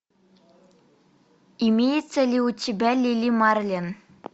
имеется ли у тебя лили марлен